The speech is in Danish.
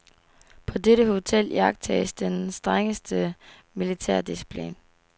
På dette hotel iagttages den strengeste militærdisciplin.